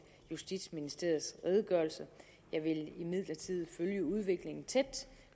justitsministerens redegørelse jeg vil imidlertid følge udviklingen tæt